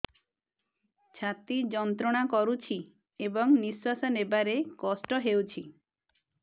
ଛାତି ଯନ୍ତ୍ରଣା କରୁଛି ଏବଂ ନିଶ୍ୱାସ ନେବାରେ କଷ୍ଟ ହେଉଛି